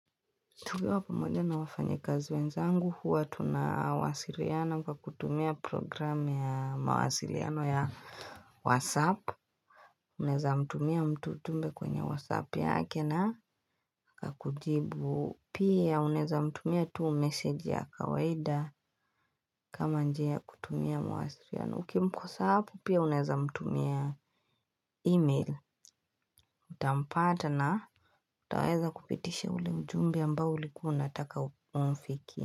Tugawa pamoja na wafanyi kazi wenzangu huwa tunawasiriana kwa kutumia program ya mawasiriano ya WhatsApp. Unaeza mtumia mtu tumbe kwenye WhatsApp yake na kakujibu. Pia unaweza mtumia tu message ya kawaida kama njia ya kutumia mawasiriano. Ukimposa hapo pia uneza mtumia email. Utampata na utaweza kupitisha ule mjumbe amambo ulikuwa unataka umfikie.